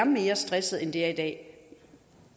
mere stressede end de er i dag